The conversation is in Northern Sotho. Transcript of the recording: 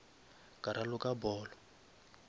ka raloka polo